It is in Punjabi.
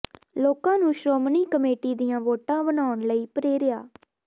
ਲੋਕਾਂ ਨੂੰ ਸ਼੍ਰੋਮਣੀ ਕਮੇਟੀ ਦੀਆਂ ਵੋਟਾਂ ਬਣਾਉਣ ਲਈ ਪ੍ਰੇਰਿਆ